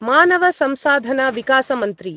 मानवसंसाधनविकासमन्त्री